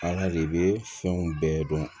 i bɛ fɛnw bɛɛ dɔn